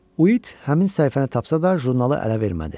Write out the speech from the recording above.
Uit həmin səhifəni tapsa da, jurnalı ələ vermədi.